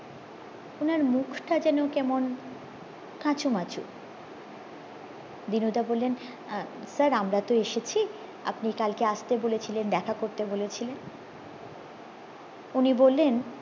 উনার মুখটা যেন কেমন কাচুমাচু দিনুদা বললেন আহ sir আমরা তো এসেছি আপনি কালকে আস্তে বলেছিলেন দেখা করতে বলেছিলেন উনি বললেন